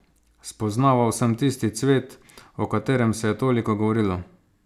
Spoznaval sem tisti cvet, o katerem se je toliko govorilo.